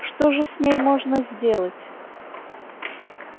что же с ней можно сделать